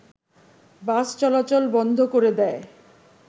বাস চলাচল বন্ধ করে দেয়